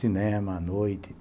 Cinema à noite.